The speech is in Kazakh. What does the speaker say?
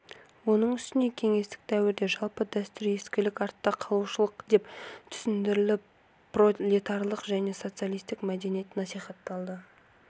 оның үстіне кеңестік дәуірде жалпы дәстүр ескілік артта қалушылық деп түсіндіріліп пролетарлық және социалистік мәдениет насихатталды